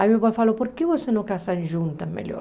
Aí meu pai falou, por que você não casam juntas melhor?